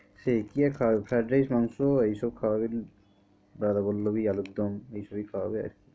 সেই কি আর খাওয়াবে fried rice মাংস এইসব খাওয়াবে দাদা বললো কি আলুর দম এইসবই খাওয়াবে আরকি।